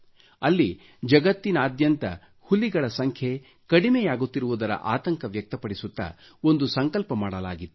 ಅಲ್ಲಿ ಜಗತ್ತಿನಾದ್ಯಂತ ಹುಲಿಗಳ ಸಂಖ್ಯೆ ಕಡಿಮೆಯಾಗುತ್ತಿರುವುದರ ಆತಂಕ ವ್ಯಕ್ತಪಡಿಸುತ್ತ ಒಂದು ಸಂಕಲ್ಪ ಮಾಡಲಾಗಿತ್ತು